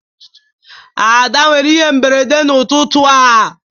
Ada nwere ihe mberede n'ụtụtụ a